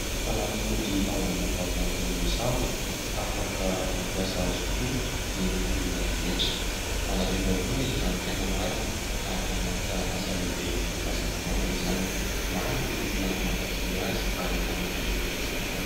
Fanafody ao anaty tavoahangy izay misarona, afaka mampiasa azy koa ny olona rehetra, manadio vavony izy raha ny tena marina ary manana anjara asa lehibe eo amin'ny fahasalamana izany, maro ny olona mankafỳ azy ary efa nahazo voka-tsoa maro.